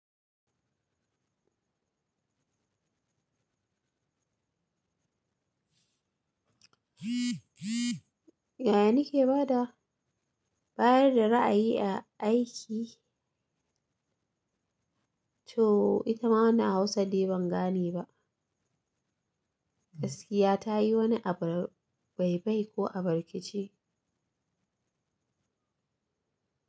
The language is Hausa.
Yaya nake bada? Bayar da ra'ayi a aiki. To ita ma wannan Hausa dai ban gane ba. Gaskiya ta yi wani abar- baibai ko abar kice.